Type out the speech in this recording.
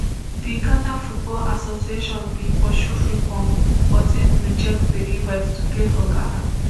di ghana football association bin pursue frimpong but im reject di invite to play for ghana